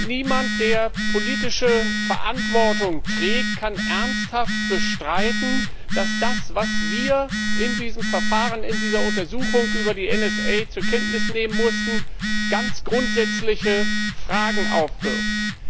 Niemand, der politische Verantwortung trägt, kann ernsthaft bestreiten, dass das, was wir in diesem Verfahren, in dieser Untersuchung, über die NSA zur Kenntnis nehmen mussten, ganz grundsätzliche Fragen aufwirft.